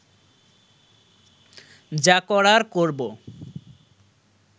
যা করার করব